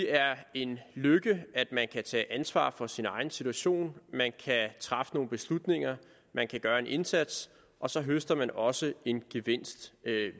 er en lykke at man kan tage ansvar for sin egen situation man kan træffe nogle beslutninger man kan gøre en indsats og så høster man også en gevinst